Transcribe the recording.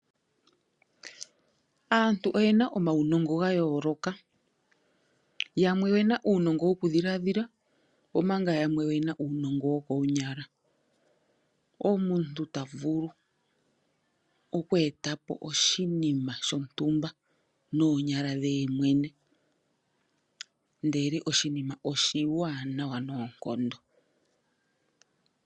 Aantu oyena omaunongo gayooloka yamwe oyena uunongo woku dhila dhila nomanga yamwe oyena uunongo wokonyala, omuntu ta vulu oku etapo oshinima shontumba noonyala dhe yemwene ndele oshinima oshiwanawa noonkondo.